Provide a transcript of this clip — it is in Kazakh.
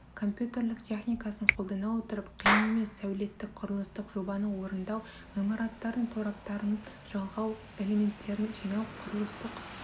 компьютерлік техникасын қолдана отырып қиын емес сәулеттік құрылыстық жобаны орындау ғимараттардың тораптарын жалғау элементерін жинау құрылыстық